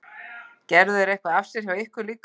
Gerðu þeir eitthvað af sér hjá ykkur líka?